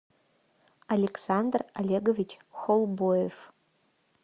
александр олегович холбоев